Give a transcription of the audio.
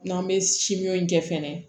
N'an bɛ simɔnjɛ fɛnɛ